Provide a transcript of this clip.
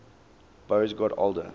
boas got older